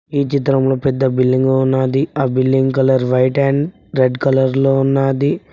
ఈ చిత్రంలో పెద్ద బిల్డింగు ఉన్నాది ఆ building colour white and red colour లో ఉన్నాది.